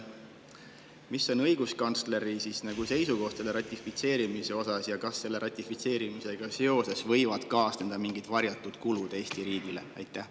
Mis on õiguskantsleri seisukoht ratifitseerimise osas ja kas sellega võivad kaasneda mingid varjatud kulud Eesti riigile?